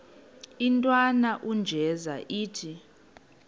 intwana unjeza ithi